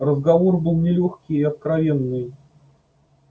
разговор был нелёгкий и откровенный